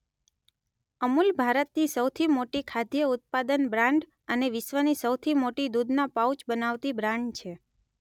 અમૂલ ભારતની સૌથી મોટી ખાદ્ય ઉત્પાદન બ્રાંડ અને વિશ્વની સૌથી મોટી દુધના પાઉચ બનાવતી બ્રાંડ છે.